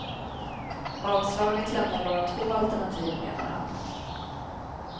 Avslaget lämnar bara två alternativ, menar han.